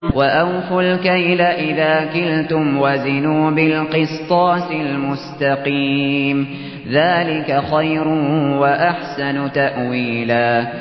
وَأَوْفُوا الْكَيْلَ إِذَا كِلْتُمْ وَزِنُوا بِالْقِسْطَاسِ الْمُسْتَقِيمِ ۚ ذَٰلِكَ خَيْرٌ وَأَحْسَنُ تَأْوِيلًا